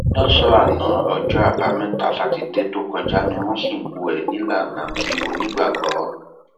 lọsànán ọjọ àbámẹta sátidé tó kọjá ni wọn sìnkú ẹ nílànà ti onígbàgbọ